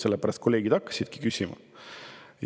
Sellepärast kolleegid hakkasidki küsima.